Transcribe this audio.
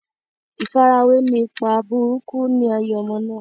ìfarawé ni ipa burúkú ni ayé ọmọ náà.